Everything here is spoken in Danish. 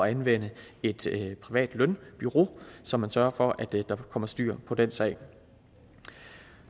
anvende et privat lønbureau så man sørger for at der kommer styr på den sag